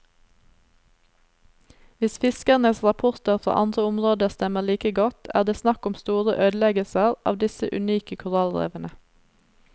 Hvis fiskernes rapporter fra andre områder stemmer like godt, er det snakk om store ødeleggelser av disse unike korallrevene.